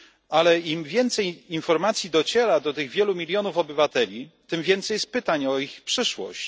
ale im więcej informacji dociera do tych wielu milionów obywateli, tym więcej jest pytań o ich przyszłość.